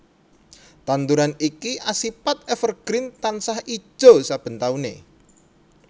Tanduran iki asipat evergreen tansah ijo saben taune